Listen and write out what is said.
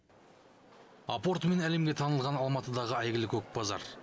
апортымен әлемге танылған алматыдағы әйгілі көк базар